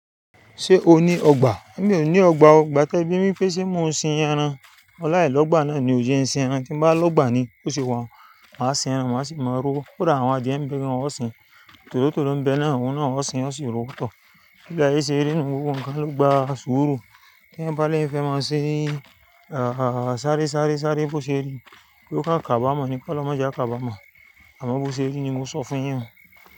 Ṣé o ní ọgbà? Èmi ò ní ọgbà o, igbà tẹ bí mi lẹ́ ṣe mon ṣin ẹran, mọ̀ laa lọgbà náà ni ò jẹ́ ṣin ẹran, tín bá lọgbà ni, bó ṣe wa hun, máa ṣin ẹran, máa sì máa rówo. Ó dá àwọn adìẹ mi bí wọn ó ṣin, tòrótòró ń bẹ náà, òun náà ó ṣin, ó sì ń ró pẹ̀tọ́. Bí ile aye ṣe rí inú gbogbo nkan lọ gbá sùúrù, kí ń bá lé ìfẹ́ máa ṣin, a, sáré, sáré, sáré bó ṣe rí, bí ó ká kaba mọ́ ni kó lọ máa jẹ kaba mọ̀. Àmọ́ bó ṣe rí ni mo sọ fún yin un.